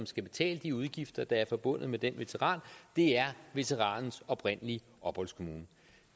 skal betale de udgifter der er forbundet med den veteran det er veteranens oprindelige opholdskommune